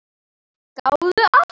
Gáðu að því.